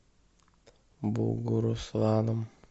бугурусланом